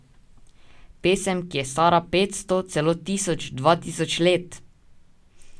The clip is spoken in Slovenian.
Pesem, ki je stara petsto, celo tisoč, dva tisoč let!